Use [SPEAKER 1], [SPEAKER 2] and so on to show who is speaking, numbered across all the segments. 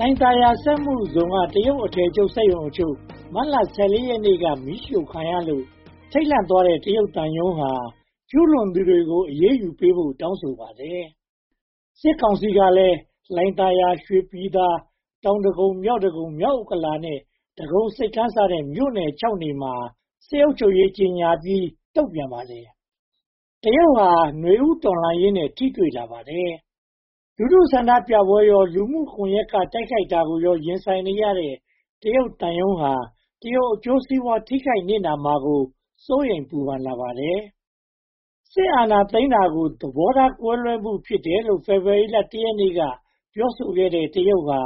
[SPEAKER 1] ိုင်သာယာစက်မှုဇုန်က တရုတ်အထည်ချုပ်စက်ရုံအချို့ မတ်လ (၁၄) ရက်နေ့က မီးရှို့ခံရလို့ ထိတ်လန့်သွားတဲ့ တရုတ်သံရုံးဟာ ကျူးလွန်သူတွေကို အရေးယူပေးဖို့ တောင်းဆိုပါတယ်။ စစ်ကောင်စီကလည်း လှိုင်သာယာ၊ ရွှေပြည်သာ၊ တောင်ဒဂုံ၊ မြောက်ဒဂုံ၊ မြောက်ဥက္ကလာပနဲ့ ဒဂုံဆိပ်ကမ်းစတဲ့ မြို့နယ် (၆) မြို့နယ်မှာ စစ်အုပ်ချုပ်ရေးကြေညာပြီး တုံ့ပြန်ပါတယ်။ တရုတ်ဟာ နွေဦးတော်လှန်ရေးနဲ့ ထိတွေ့လာပါတယ်။ လူထုဆန္ဒပြပွဲကိုရော လူမှုကွန်ရက်ကနေ တိုက်ခိုက်မှုကိုရော ရင်ဆိုင်နေရတဲ့ တရုတ်သံရုံးဟာ တရုတ်အကျိုးစီးပွား ထိခိုက်နစ်နာမှာကို စိုးရိမ်ပူပန်လာပါတယ်။ စစ်အာဏာသိမ်းတာကို သဘောထားကွဲလွဲမှု ဖြစ်တယ်လို့ ဖေဖေါ်ဝါရီလ (၁) ရက်နေ့က ပြောဆိုခဲ့တဲ့ တရုတ်ဟာ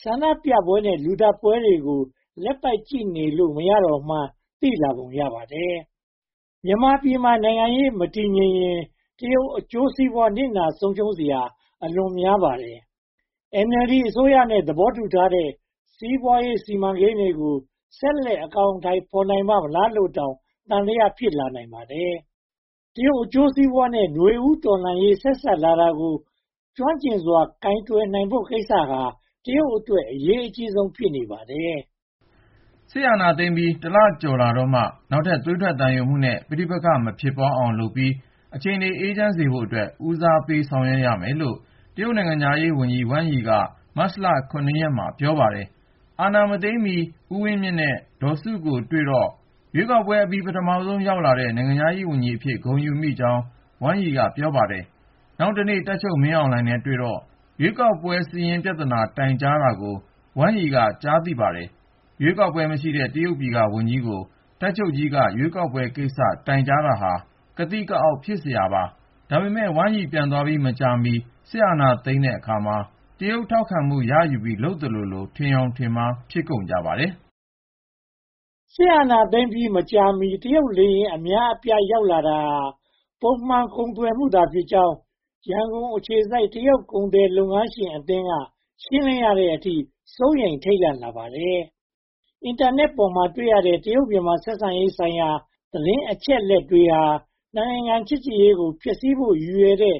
[SPEAKER 1] ဆန္ဒပြပွဲနဲ့ လူသတ်ပွဲတွေကို လက်ပိုက်ကြည့်လို့ မရတော့မှန်း သိလာပုံရပါတယ်။ မြန်မာပြည်မှာ နိုင်ငံရေးမတည်ငြိမ်ရင် တရုတ်အကျိုးစီးပွား နစ်နာဆုံးရှုံးစရာ အလွန်များပါတယ်။ NLD အစိုးရနဲ့ သဘောတူထားတဲ့ စီးပွားရေးစီမံကိန်းတွေကို ဆက်လက်အကောင်အထည် ဖော်နိုင်ပါ့မလားလိုတောင် သံသယ ဖြစ်လာနိုင်ပါတယ်။ တရုတ်အကျိုးစီးပွားနဲ့ နွေဦးတော်လှန်ရေး ဆက်စပ်လာတာကို ကျွမ်းကျင်စွာ ကိုင်တွယ်ဖို့ကိစ္စဟာ တရုတ်အတွက် အရေးကြီးဆုံး ဖြစ်နေပါတယ်။
[SPEAKER 2] စစ်အာဏာသိမ်းပြီး (၁) လကျော်ကြာတော့မှ နောက်ထပ်သွေးထွက်သံယိုမှုနဲ့ ပဋိပက္ခ မဖြစ်ပွားအောင်လုပ်ပြီး အခြေအနေ အေးချမ်းစေဖို့အတွက် ဦးစားပေးဆောင်ရွက်ရမယ်လို့ နိုင်ငံခြားရေးဝန်ကြီး ဝမ်ရိ က မတ်လ (၇) ရက်မှာ ပြောပါတယ်။ အာဏာမသိမ်းမီ ဦးဝင်းမြင့်နဲ့ ဒေါ်စုတို့ကိုတွေ့တော့ ရွေးကောက်ပွဲအပြီး ပထမဆုံး ရောက်လာတဲ့ နိုင်ငံခြားရေးဝန်ကြီးအဖြစ် ဂုဏ်ယူမိကြောင်း ဝမ်ရိက ပြောပါတယ်။ နောက်တနေ့ တပ်ချုပ်မင်းအောင်လှိုင်နဲ့တွေ့တော့ ရွေးကောက်ပွဲစာရင်း ပြဿနာတိုင်ကြားတာကို ဝမ်ရိ က ကြားရပါတယ်။ ရွေးကောက်ပွဲ မရှိတဲ့ တရုတ်ပြည်ကဝန်ကြီးကို တပ်ချုပ်ကြီးက ရွေးကောက်ပွဲကိစ္စ တိုင်ကြာတာဟာ ကသိကအောက် ဖြစ်စရာပါ။ ဒါပေမဲ့ ဝမ်ရိ ပြန်သွားပြီး မကြာမီ စစ်အာဏာသိမ်းတဲ့အခါမှာ တရုတ် ထောက်ခံမှုရယူပြီး လုပ်သလိုလို ထင်ယောင်ထင်မှား ဖြစ်ကုန်ကြပါတယ်
[SPEAKER 1] ။ စစ်အာဏာသိမ်းပြီး မကြာမီ တရုတ်လေယာဉ် အများအပြား လာရောက်တာဟာ ပုံမှန်ကုန်သွယ်မှုသာဖြစ်ကြောင်း ရန်ကုန်အခြေစိုက် တရုတ်လုပ်ငန်း ကုန်သည်လုပ်ငန်းရှင်အသင်းက ရှင်းလင်းရတဲ့အထိ စိုးရိမ်ထိတ်လန့်လာပါတယ်။ အင်တာနက်ပေါ်မှာ တွေ့ရတဲ့ တရုတ်-မြန်မာ ဆက်ဆံရေးဆိုင်ရာ သတင်းအချက်အလက်တွေဟာ (၂) နိုင်ငံ ချစ်ကြည်ရေးကို ဖျက်ဆီးဖို့ ရည်ရွယ်တဲ့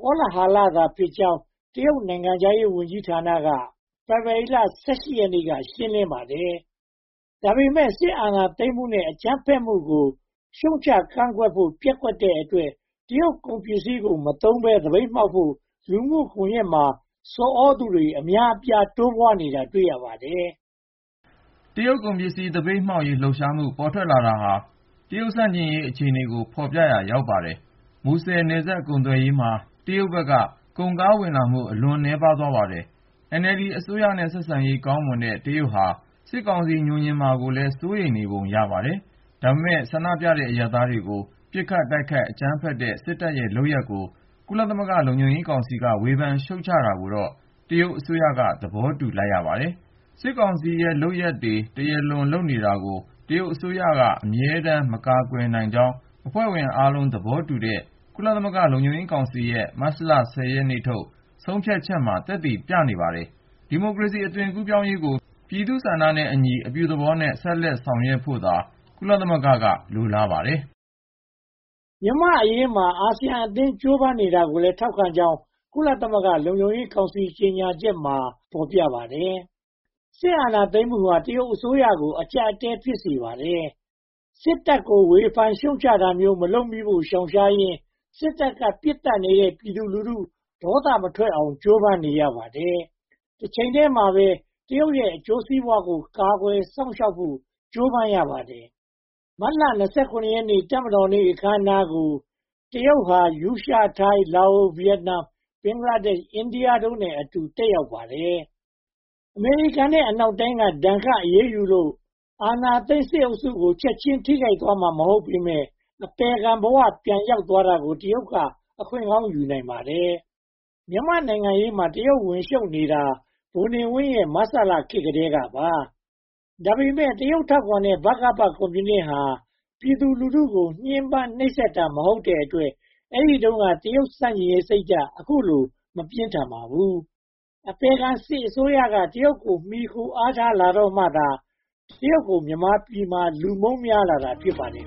[SPEAKER 1] ကောလဟာလဖြစ်ကြောင်း တရုတ်နိုင်ငံခြားရေးဝန်ကြီးဌာနက ဖေဖေါ်ဝါရီလ (၁၈) ရက်နေ့က ရှင်းလင်းပါတယ်။။ ဒါပေမဲ့ စစ်အာဏာသိမ်းမှုနဲ့ အကြမ်းဖက်မှုကို ရှုတ်ချကန့်ကွက်ဖို့ ပျက်ကွက်တဲ့အတွက် တရုတ်ကုန်ပစ္စည်းကို မသုံးဘဲ သပိတ်မှောက်ဖို့ လူမှုကွန်ရက်မှာ ဆော်သြသူတွေ အများအပြား တိုးပွားနေတာ တွေ့ရပါတယ်
[SPEAKER 2] ။ တရုတ်ကုန်ပစ္စည်း သပိတ်မှောက်ရေး လှုပ်ရှားမှု ပေါ်ထွက်လာတာဟာ တရုတ်ဆန့်ကျင်ရေး အခြေအနေကို ဖော်ပြရာ ရောက်ပါတယ်။ မူဆယ်နယ်စပ် ကုန်သွယ်ရေးမှာ တရုတ်ဘက်က ကုန်ကားဝင်လာမှု အလွန်နည်းပါးသွားပါတယ်။ NLD အစိုးရနဲ့ ဆက်ဆံရေးကောင်းမွန်တဲ့ တရုတ်ဟာ စစ်ကောင်စီ ငြိုငြင်မှာကိုလည်း စိုးရိမ်နေပုံရပါတယ်။ ဒါပေမဲ့ ဆန္ဒပြနေတဲ့ အရပ်သားတွေကို ပစ်ခတ်တိုက်ခိုက် အကြမ်းဖက်တဲ့ စစ်တပ်ရဲ့လုပ်ရပ်ကို ကုလသမဂ္ဂ လုံခြုံရေးကောင်စီက ဝေဖန်ရှုတ်ချတာကိုတော့ တရုတ်အစိုးရက သဘောတူလိုက်ပါတယ်။ စစ်ကောင်စီရဲ့ လုပ်ရပ်တွေ တရားလွန်နေတာကို တရုတ်အစိုးရ အမြဲတမ်း မကာကွယ်နိုင်ကြောင်း အဖွဲ့ဝင်အားလုံးသဘောတူတဲ့ ကုလသမဂ္ဂ လုံခြုံရေးကောင်စီရဲ့ မတ်လ (၁၀) ရက်နေ့ထုတ် ဆုံးဖြတ်ချက်က သက်သေပြနေပါတယ်။ ဒီမိုကရေစီ အသွင်ကူးပြောင်းရေးကို ပြည်သူ့ဆန္ဒနဲ့အညီ အပြုသဘောနဲ့ ဆက်လက်ဆောင်ရွက်ဖို့သာ ကုလသမဂ္ဂက လိုလားပါတယ်
[SPEAKER 1] ။ မြန်မာ့အရေးမှာ အာဆီယံအသင်း ကြိုးပမ်းနေတာကိုလည်း ထောက်ခံကြောင်း ကုလသမဂ္ဂ လုံခြုံရေးကောင်စီ ကြေညာချက်မှာ ဖော်ပြထားပါတယ်။ စစ်အာဏာသိမ်းမှုဟာ တရုတ်အစိုးရကို အကျပ်အတည်း ဖြစ်စေပါတယ်။ စစ်တပ်ကို ဝေဖန်ရှုတ်ချတာမျိုး မလုပ်မိဖို့ ရှောင်ရှားရင်း စစ်တပ်က ပစ်သတ်နေတဲ့ ပြည်သူလူထု ဒေါသမထွက်အောင် ကြိုးပမ်းနေရပါတယ်။ တချိန်တည်းမှာပဲ တရုတ်ရဲ့ အကျိုးစီးပွားကို ကာကွယ်စောင့်ရှောက်ဖို့ ကြိုးပမ်းရပါတယ်။ မတ်လ (၂၇) ရက် တပ်မတော်နေ့ အခမ်းအနားကို တရုတ်ဟာ ရုရှား၊ ထိုင်း၊ လာအို၊ ဗိယက်နမ်၊ ဘင်္ဂလားဒေ့ရှ်၊ အိန္ဒိယတို့နဲ့အတူ တက်ရောက်ခဲ့ပါတယ်။ အမေရိကန်နဲ့ အနောက်နိုင်ငံတွေက ဒဏ်ခတ်အရေးယူလို့ အာဏာသိမ်းစစ်အုပ်စုကို ချက်ချင်းထိခိုက်သွားမှာ မဟုတ်ပေမယ့် အပယ်ခံဘဝ ပြန်ရောက်သွားတာကို တရုတ်က အခွင့်ကောင်းယူနိုင်ပါတယ်။ မြန်မာနိုင်ငံရေးမှာ တရုတ်ဝင်ရှုတ်နေတာ ဗိုလ်နေဝင်းရဲ့ မဆလခေတ်ကတည်းပါ ဒါပေမဲ့ တရုတ် ထောက်ခံတဲ့ ဗကပ ကွန်မြူနစ်ဟာ ပြည်သူလူထုကို ညှဉ်းပန်းနှိပ်စက်တာ မဟုတ်တဲ့အတွက် အဲဒီတုန်းက တရုတ်ဆန့်ကျင်ရေးစိတ်ဓါတ် အခုလို မပြင်းထန်ပါဘူး။ အပယ်ခံစစ်အစိုးရက တရုတ်ကို မှီခိုအားထားလာတော့မှသာ တရုတ်ကို မြန်မာပြည်မှာ လူမုန်းများလာတာ ဖြစ်ပါတယ်